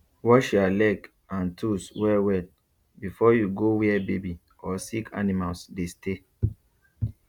wash ya leg and tools well well before you go where baby or sick animals dey stay